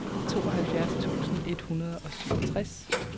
tooghalvfjerds tusind et hundrede og syvogtres